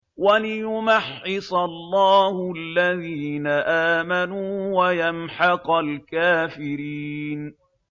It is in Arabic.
وَلِيُمَحِّصَ اللَّهُ الَّذِينَ آمَنُوا وَيَمْحَقَ الْكَافِرِينَ